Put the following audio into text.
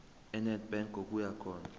enedbank ngokuya khona